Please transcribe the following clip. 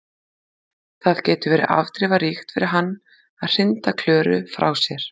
Það getur verið afdrifaríkt fyrir hann að hrinda Klöru frá sér.